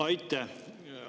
Aitäh!